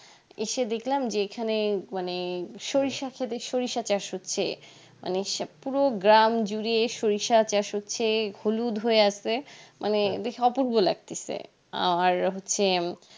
এসে দেখলাম যে এখানে মানে সরিষা খেতে সরিষা চাষ হচ্ছে মানে পুরো গ্রাম জুড়ে সরিষা চাষ হচ্ছে হলুদ হয়ে আসে মানে বেশ অপূর্ব লাগতাসে আর হচ্ছে